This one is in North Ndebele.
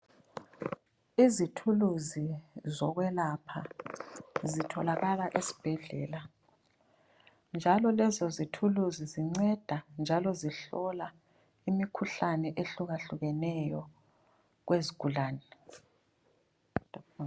Izithuluzi zokwelapha, zitholakala esbhedlela. Njalo lezo zithuluzi zinceda, njalo zihlola imikhuhlane ehlukahlukeneyo kwezigulane.